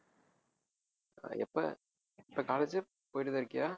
அஹ் எப்ப இப்ப college போயிட்டுதான் இருக்கியா